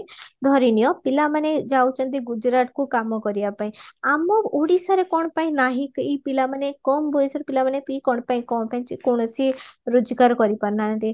ଧରିନିଅ ପିଲା ମାନେ ଯାଉଚନ୍ତି ଗୁଜୁରାଟକୁ କାମ କରିବା ପାଇଁ ଆମ ଓଡିଶାରେ କଣ ପାଇଁ ନାହି ଏଇ ପିଲା ମାନେ କମ ବୟସଏର ପିଲାମାନ ବି କଣ ପାଇଁ କଣ ପାଇଁ କୌଣସି ରୋଜଗାର କରିପାରୁନାହାନ୍ତି